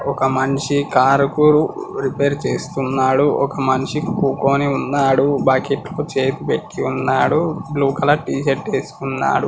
ఒక మనిషి కార్ కురు రిపేర్ చేస్తున్నాడు ఒక మనిషి కుకోని ఉన్నాడు బకెట్లో చేయి పెట్టివున్నాడు బ్లూ కలర్ టి-షర్ట్ వేసుకున్నాడు.